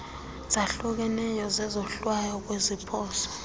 zahlukeneyo zezohlwayo kwiziphoso